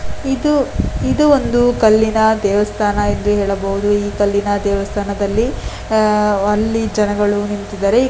ಇದು ಇದು ಒಂದು ಕಲ್ಲಿನ ದೇವಸ್ಥಾನ ಎಂದು ಹೇಳಬಹುದು ಈ ಕಲ್ಲಿನ ದೇವಸ್ಥಾನದಲ್ಲಿ ಆಹ್ಹ್ಅಲ್ಲಿ ಜನಗಳು ನಿಂತಿದ್ದಾರೆ .